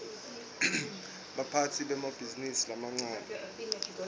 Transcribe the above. baphatsi bemabhizinisi lamancane